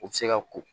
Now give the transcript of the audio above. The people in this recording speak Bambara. U ti se ka ko